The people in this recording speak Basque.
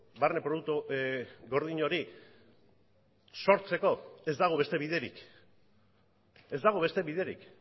barne produktu gordin hori sortzeko ez dago beste biderik ez dago beste biderik